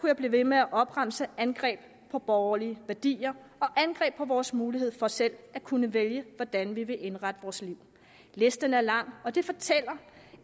jeg blive ved med at opremse angreb på borgerlige værdier og angreb på vores mulighed for selv at kunne vælge hvordan vi vil indrette vores liv listen er lang og det fortæller